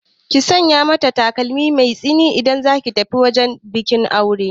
Sanya takalmi mai tsini idan zaki tafi wajen bikin auren